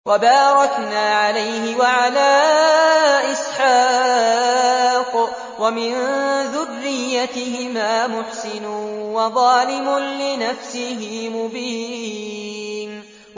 وَبَارَكْنَا عَلَيْهِ وَعَلَىٰ إِسْحَاقَ ۚ وَمِن ذُرِّيَّتِهِمَا مُحْسِنٌ وَظَالِمٌ لِّنَفْسِهِ مُبِينٌ